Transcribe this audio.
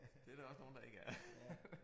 Det der også nogle der ikke er